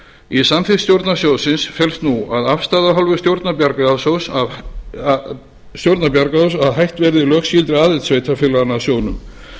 í samþykkt stjórnar sjóðsins felst nú að afstaða af hálfu stjórnar bjargráðasjóðs að hætt verði lögskylduaðild sveitarfélaganna að sjóðnum